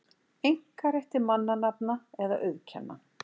einkarétt til mannanafna eða auðkenna.